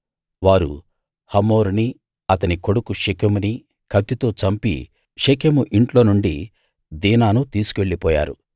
వారు హమోరునీ అతని కొడుకు షెకెమునీ కత్తితో చంపి షెకెము ఇంట్లో నుండి దీనాను తీసుకెళ్ళిపోయారు